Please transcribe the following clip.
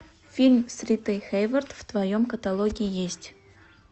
фильм с ритой хэйворт в твоем каталоге есть